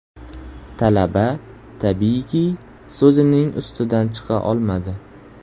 Talaba tabiiyki so‘zining ustidan chiqa olmadi.